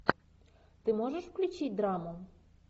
ты можешь включить драму